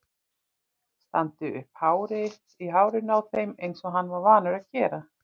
Standi upp í hárinu á þeim eins og hann var vanur að gera!